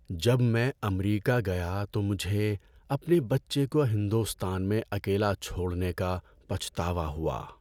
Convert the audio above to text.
جب میں امریکہ گیا تو مجھے اپنے بچے کو ہندوستان میں اکیلا چھوڑنے کا پچھتاوا ہوا۔